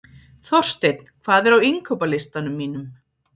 Þorsteinn, hvað er á innkaupalistanum mínum?